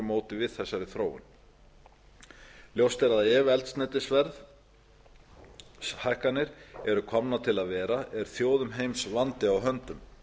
móti við þessari þróun ljóst er að ef eldsneytisverðshækkanir eru komnar til að vera er þjóðum heims vandi á höndum